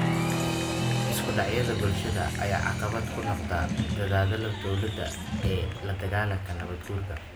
Isku dhacyada bulshada ayaa caqabad ku noqda dadaallada dowladda ee la dagaalanka nabaad guurka.